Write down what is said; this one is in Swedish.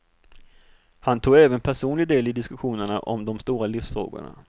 Han tog även personlig del i diskussionerna om de stora livsfrågorna.